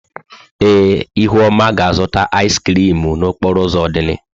Ee, ihuoma ga-azụta ịz krịm n'okporo ụzọ Odili.